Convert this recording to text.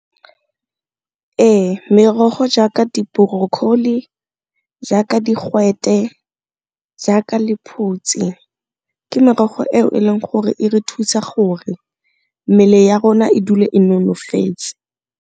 Ee, merogo jaaka di-broccoli, jaaka digwete, jaaka lephutsi ke merogo eo e leng gore e re thusa gore mmele ya rona e dule e nonofetse.